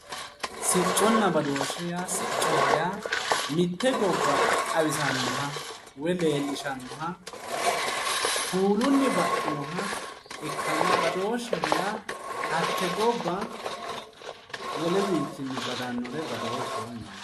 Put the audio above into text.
Sicconna badooshshe siccoho yaa mitte gobba xawisannoha woy leellishshannoha kuulunni baxxinoha ikkanna badooshsheho yaa hatte gobba woleyiwinni badannoha badooshsheho yinanni.